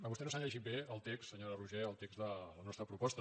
vostè no s’ha llegit bé el text se·nyora roigé de la nostra proposta